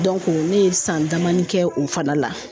ne ye san damani kɛ o fana la